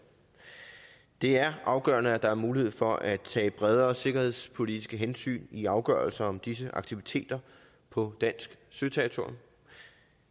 det er afgørende at der er mulighed for at tage bredere sikkerhedspolitiske hensyn i afgørelser om disse aktiviteter på dansk søterritorium